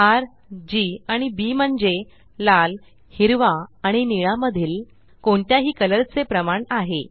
र जी आणि बी म्हणजे लाल हिरवा आणि निळ्या मधील कोणत्याही कलर चे प्रमाण आहे